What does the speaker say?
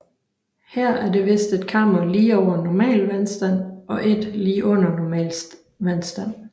Her er det vist et kammer lige over normal vandstand og et lige under normal vandstand